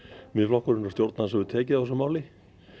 Miðflokkurinn hefur tekið á þessu máli